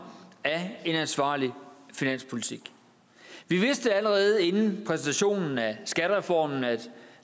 af en ansvarlig finanspolitik vi vidste allerede inden præsentationen af skattereformen at